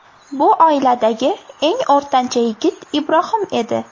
Bu oiladagi eng o‘rtancha yigit Ibrohim edi.